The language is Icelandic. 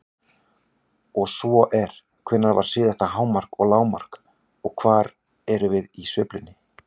Ef svo er, hvenær var síðasta hámark og lágmark og hvar erum við í sveiflunni?